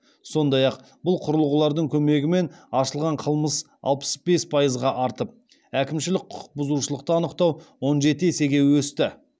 сондай ақ бұл құрылғылардың көмегімен ашылған қылмыс алпыс бес пайызға артып әкімшілік құқық бұзушылықты анықтау он жеті есеге өсті